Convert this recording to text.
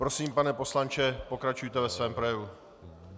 Prosím, pane poslanče, pokračujte ve svém projevu.